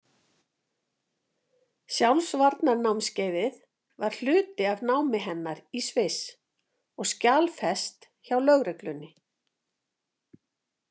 Sjálfsvarnarnámskeiðið var hluti af námi hennar í Sviss og skjalfest hjá lögreglunni.